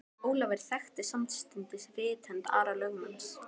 Ólafur þekkti samstundis rithönd Ara lögmanns.